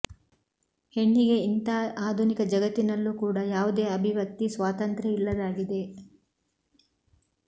ಹೆಣ್ಣಿಗೆ ಇಂಥ ಆಧುನಿಕ ಜಗತ್ತಿನಲ್ಲೂ ಕೂಡ ಯಾವುದೇ ಅಭಿವ್ಯಕ್ತಿ ಸ್ವಾತಂತ್ರ್ಯ ಇಲ್ಲದಾಗಿದೆ